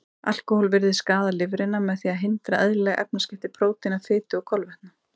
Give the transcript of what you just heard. Alkóhól virðist skaða lifrina með því að hindra eðlileg efnaskipti prótína, fitu og kolvetna.